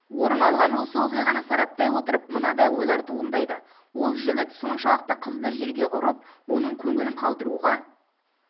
орын алған осы оқиғаны сараптай отырып мынадай ойлар туындайды ол жігіт соншалықты қызды жерге ұрып оның көңілін қалдыруға